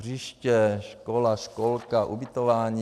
Hřiště, škola, školka, ubytování.